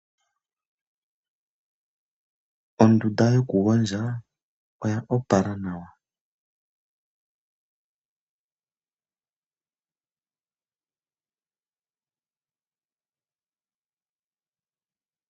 Ondunda yokugondja oya opala nawa.